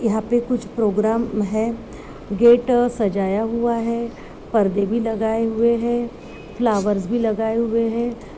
यहाँ पे कुछ प्रोग्राम है। गेट सजाया हुआ है। पर्दे भी लगाए हुए है। फ्लावर्स भी लगाए हुए है।